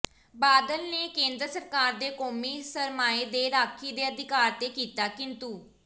ਬਾਦਲ ਨੇ ਕੇਂਦਰ ਸਰਕਾਰ ਦੇ ਕੌਮੀ ਸਰਮਾਏ ਦੇ ਰਾਖੀ ਦੇ ਅਧਿਕਾਰ ਤੇ ਕੀਤਾ ਕਿੰਤੂ